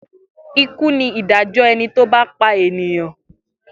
Ikú ni ìdájọ́ ẹni tó bá pa ènìyàn.